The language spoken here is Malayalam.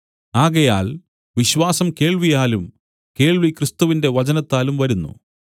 ആകയാൽ വിശ്വാസം കേൾവിയാലും കേൾവി ക്രിസ്തുവിന്റെ വചനത്താലും വരുന്നു